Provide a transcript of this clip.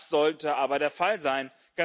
Das sollte aber der Fall sein!